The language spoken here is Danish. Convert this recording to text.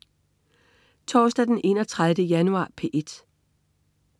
Torsdag den 31. januar - P1: